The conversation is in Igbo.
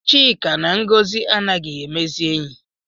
Chika na Ngọzi anaghị emezi oyi